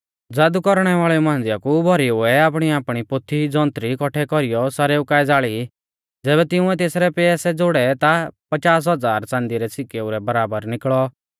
ज़ादु कौरणै वाल़ेऊ मांझ़िया कु भौरीउऐ आपणीआपणी पोथी जौन्त्री कौट्ठै कौरीयौ सारेऊ काऐ ज़ाल़ी ज़ैबै तिंउरै तेथरै पैसै ज़ोड़ै ता पचास हज़ार च़ांदी रै सिकेऊ रै बराबर निकल़ौ